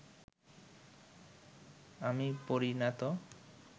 আমি পড়ি না তো